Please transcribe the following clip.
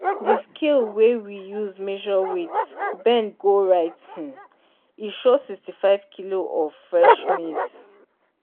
di scale wey we dey use measure weight bend go right um e show sixty-five kilo of fresh maize